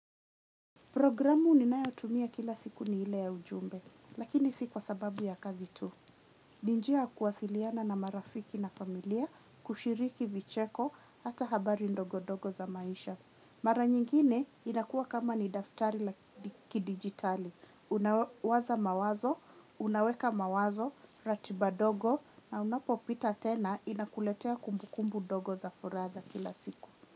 Programu ninayotumia kila siku ni ile ya ujumbe, lakini si kwa sababu ya kazi tu. Ni njia ya kuwasiliana na marafiki na familia, kushiriki vicheko, hata habari ndogo ndogo za maisha. Mara nyingine inakuwa kama ni daftari la kidigitali. Unawaza mawazo, unaweka mawazo, ratiba dogo, na unapopita tena inakuletea kumbukumbu ndogo za furaha za kila siku.